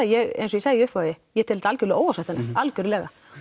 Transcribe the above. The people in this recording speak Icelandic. ég eins og ég segi í upphafi ég tel þetta algjörlega óásættanlegt algjörlega